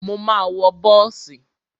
Mo ma wọ bọ́ọ̀sì.